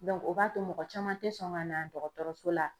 Dɔnku o b'a to mɔgɔ caman te sɔn ka na dɔgɔtɔrɔso la